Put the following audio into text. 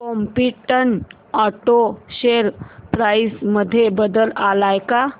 competent auto share price मध्ये बदल आलाय का